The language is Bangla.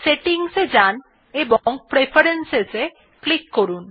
সেটিং এ যান এবং Preferences এ ক্লিক করুন